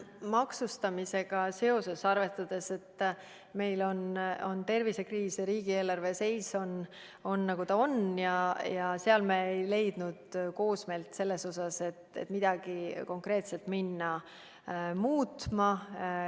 Mis puutub maksustamisse, siis arvestades, et meil on tervisekriis ja riigieelarve seis on, nagu ta on, me ei leidnud üksmeelt selles osas, et midagi konkreetselt muutma hakata.